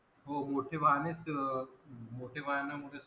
हो मोठे वाहनेच मोठे वाहना मध्ये च